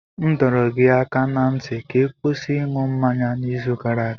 M dọrọ gị aka ná ntị ka ị kwụsị ịṅụ mmanya n'izu gara aga!